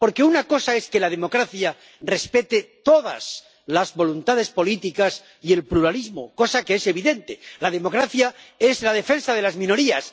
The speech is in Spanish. Porque una cosa es que la democracia respete todas las voluntades políticas y el pluralismo, cosa que es evidente la democracia es la defensa de las minorías.